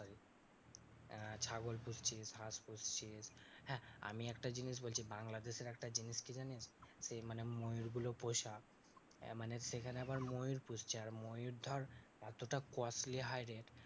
আহ ছাগল পুষছিস, হাঁস পুষছিস। হ্যাঁ আমি একটা বলছি বাংলাদেশের একটা জিনিস কি জানিস ঐ মানে ময়ূরগুলো পোষা এ মানে সেখানে আবার ময়ূর পুষছে আর ময়ূর ধর অতটা costly high rate